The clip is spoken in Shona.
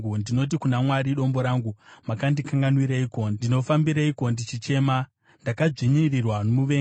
Ndinoti kuna Mwari Dombo rangu, “Mandikanganwireiko? Ndinofambireiko ndichichema ndakadzvinyirirwa nomuvengi?”